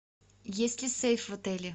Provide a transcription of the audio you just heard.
есть ли сейф в отеле